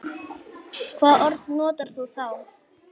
Hvaða orð notar þú þá?